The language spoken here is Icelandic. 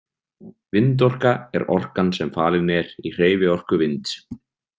Vindorka er orkan sem falin er í hreyfiorku vinds.